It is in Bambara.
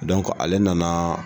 ale nana